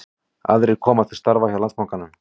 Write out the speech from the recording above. Aðrir koma til starfa hjá Landsbankanum